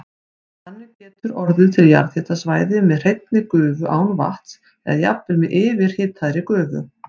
Þannig getur orðið til jarðhitasvæði með hreinni gufu án vatns eða jafnvel með yfirhitaðri gufu.